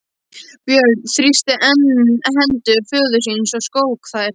Björn þrýsti enn hendur föður síns og skók þær.